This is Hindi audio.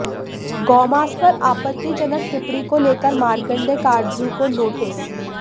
गौमांस पर आपत्तिजनक टिप्पणी को लेकर मार्केंडय काटजू को नोटिस